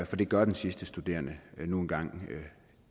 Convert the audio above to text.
for det gør den sidste studerende nu engang